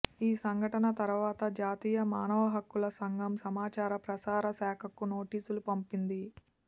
ఈ సంఘటన తర్వాత జాతీయ మానవహక్కుల సంఘం సమాచార ప్రసారశాఖకు నోటీసులు పంపింది